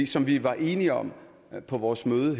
som vi var enige om på vores møde